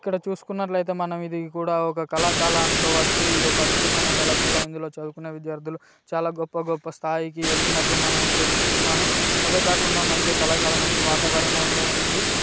ఇక్కడ చుస్కునట్లు ఐతే మనం ఇది కూడా ఒక కళాశాల అనుకోవచ్చు ఇది ఒక అద్భుతమైన కళాశాల ఇందులో చదువుకున విద్యార్థులు చాలా గొప్ప గొప్ప స్థాయికి ఎదిగినట్లు మనం తెలుసుకున్నాము. అదే కాకుండా మంచి కళాశాల మంచి వాతావరణం లో ఉంది.